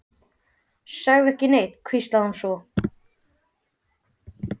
Segðu ekki neitt, hvíslaði hún svo.